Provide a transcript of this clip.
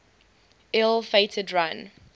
ill fated run